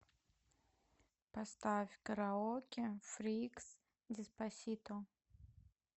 поставь караоке фрикс деспасито